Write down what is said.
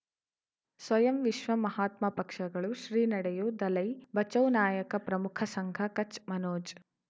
ಸ್ವಯಂ ವಿಶ್ವ ಮಹಾತ್ಮ ಪಕ್ಷಗಳು ಶ್ರೀ ನಡೆಯೂ ದಲೈ ಬಚೌ ನಾಯಕ ಪ್ರಮುಖ ಸಂಘ ಕಚ್ ಮನೋಜ್